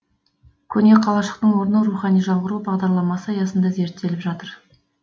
көне қалашықтың орны рухани жаңғыру бағдарламасы аясында зерттеліп жатыр